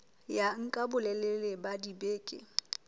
ya nka bolelele ba dibeke